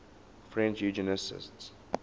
french eugenicists